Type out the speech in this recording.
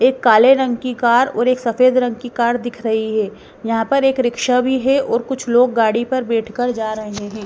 एक काले रंग की कार और एक सफ़ेद रंग की कार दिख रही है यहाँ पर एक रिक्शा भी है और कुछ लोग गाड़ी पर बैठकर जा रहे हैं।